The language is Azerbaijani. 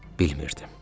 Bilmirdim.